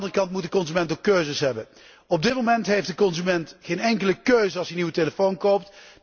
Aan de andere kant moet de consument ook keuzes hebben. Op dit moment heeft de consument geen enkele keuze als hij een nieuwe telefoon koopt.